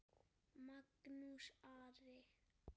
Magnús Ari.